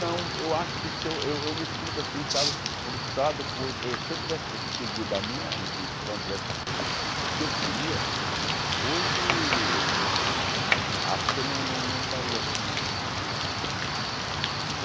Não, eu acho que se eu eu me sinto assim, sabe, frustrado porque se eu tivesse seguido a minha intuição, tivesse seguido o que eu queria, hoje acho que eu não não não estaria assim.